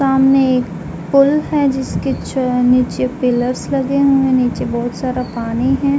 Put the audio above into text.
सामने एक फूल है जिसके च-नीचे पिलर्स लगे हुएं। नीचे बहुत सारा पानी है।